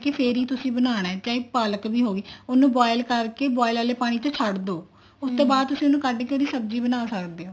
ਫ਼ੇਰ ਹੀ ਤੁਸੀਂ ਬਣਾਉਣਾ ਚਾਹੇ ਪਾਲਕ ਵੀ ਹੋਵੇ ਉਹਨੂੰ boil ਕਰਕੇ boil ਆਲੇ ਪਾਣੀ ਚ ਛੱਡ ਦੋ ਉਸ ਤੋਂ ਬਾਅਦ ਉਹਨੂੰ ਕੱਡ ਕੇ ਤੁਸੀਂ ਉਹਦੀ ਸਬ੍ਜ਼ੀ ਬਣਾ ਸਕਦੇ ਹੋ